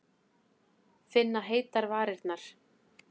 Finna heitar varirnar.